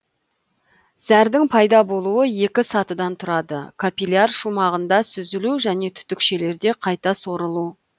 зәрдің пайда болуы екі сатыдан тұрады капилляр шумағында сүзілу және түтікшелерде қайта сорылу